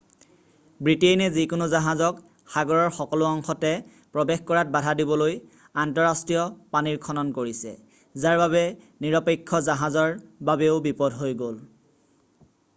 ব্ৰিটেইনে যিকোনো জাহাজক সাগৰৰ সকলো অংশতে প্ৰৱেশ কৰাত বাধা দিবলৈ আন্তঃৰাষ্ট্ৰীয় পানীৰ খনন কৰিছে যাৰ বাবে নিৰপেক্ষ জাহাজৰ বাবেও বিপদ হৈ গ'ল।